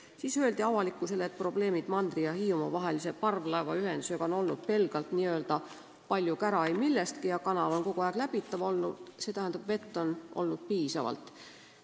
Siis öeldi avalikkusele, et probleemid mandri ja Hiiumaa vahelise parvlaevaühendusega on olnud pelgalt "palju kära ei millestki" ja kanal on olnud kogu aeg läbitav, st vett on olnud piisavalt.